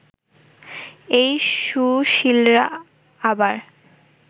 এই সুশীলরা আবার